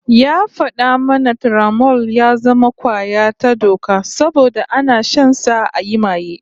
Ya fada mana Turamol ya zama kwaya ta doka saboda ana shansa ayi maye